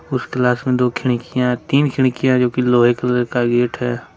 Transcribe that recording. उस क्लास में दो खिड़कियां तीन खिड़कियां जो कि लोहे कलर का गेट है।